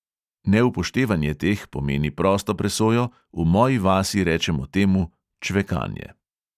Neupoštevanje teh pomeni prosto presojo, v moji vasi rečemo temu čvekanje.